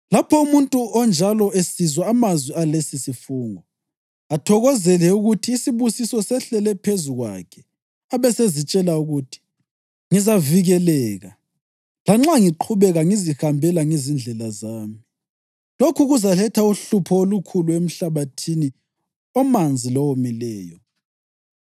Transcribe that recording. Lapho umuntu onjalo esizwa amazwi alesisifungo, athokozele ukuthi isibusiso sehlele phezu kwakhe abesezitshela ukuthi, ‘Ngizavikeleka, lanxa ngiqhubeka ngizihambela ngezindlela zami.’ Lokhu kuzaletha uhlupho olukhulu emhlabathini omanzi lowomileyo.